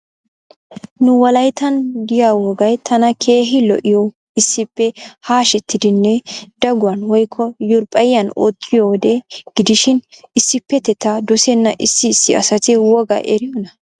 Nu wolayttan de'iya wogay tana keehi lo'iyoy issippe hashetidinne daguwan woykko yurppiyan ottiyowode gidishin issippeteta dosena issi issi assati woga eriyona?